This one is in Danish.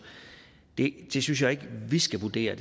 det det synes jeg ikke vi skal vurdere